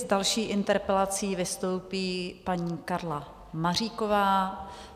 S další interpelací vystoupí paní Karla Maříková.